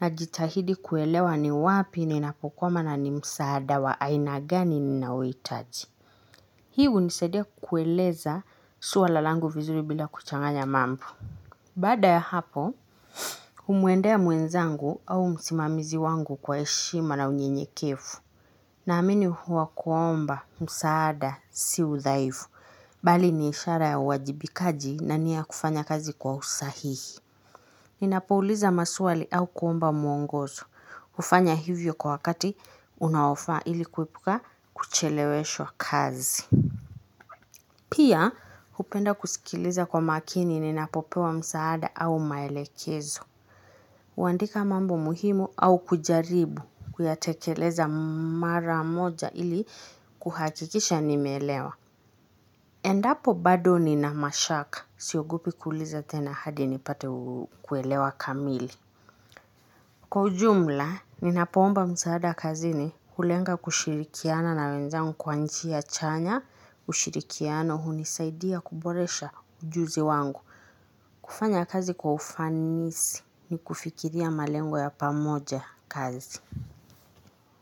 Najitahidi kuelewa ni wapi ninapokwama na ni msaada wa aina gani ninaohitaji. Hii hunisaidia kueleza swala langu vizuri bila kuchanganya mambo. Baada ya hapo, humwendea mwenzangu au msimamizi wangu kwa heshima na unyenyekevu. Naamini huwa kuomba, msaada, si udhaifu, bali ni ishara ya uwajibikaji na nia ya kufanya kazi kwa usahihi. Ninapouliza maswali au kuomba mwongozo, hufanya hivyo kwa wakati unaofaa ili kuepuka kucheleweshwa kazi. Pia, hupenda kusikiliza kwa makini ninapopewa msaada au maelekezo. Huandika mambo muhimu au kujaribu kuyatekeleza mara moja ili kuhakikisha nimeelewa. Endapo bado nina mashaka. Siogopi kuuliza tena hadi nipate kuelewa kamili. Kwa ujumla, ninapoomba msaada kazini kulenga kushirikiana na wenzangu kwa njia chanya. Ushirikiano hunisaidia kuboresha ujuzi wangu. Kufanya kazi kwa ufanisi ni kufikiria malengo ya pamoja kazi.